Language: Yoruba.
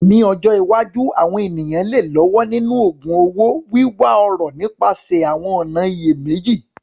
Ní ọjọ́ iwájú, àwọn ènìyàn lè lọ́wọ́ nínú ògun un owó, wíwá ọrọ̀ nípasẹ̀ àwọn ọ̀nà ìyèméjì.